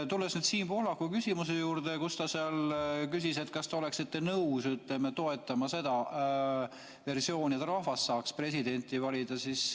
Tulles Siim Pohlaku küsimuse juurde – ta küsis, kas te oleksite nõus toetama seda versiooni, et rahvas saaks presidenti valida.